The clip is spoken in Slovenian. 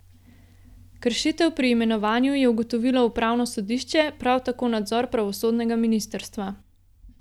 Kršitev pri imenovanju je ugotovilo upravno sodišče, prav tako nadzor pravosodnega ministrstva.